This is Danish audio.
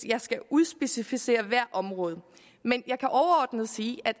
skal udspecificere hvert område men jeg kan overordnet sige at